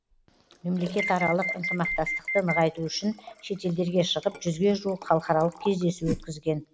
мемлекетаралық ынтымақтастықты нығайту үшін шетелдерге шығып жүзге жуық халықаралық кездесу өткізген